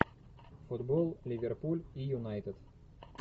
футбол ливерпуль и юнайтед